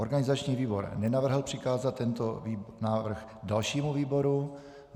Organizační výbor nenavrhl přikázat tento návrh dalšímu výboru.